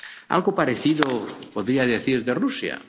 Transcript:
Algo parecido podría decir de Rusia.